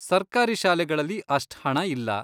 ಸರ್ಕಾರಿ ಶಾಲೆಗಳಲ್ಲಿ ಅಷ್ಟ್ ಹಣ ಇಲ್ಲ.